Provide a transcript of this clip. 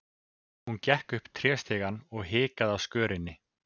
Hún gekk upp tréstigann og hikaði á skörinni.